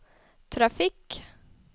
trafikk